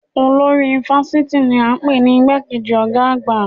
Olórí fásitì ni a npè ní igbá kejì ọ̀gá àgbà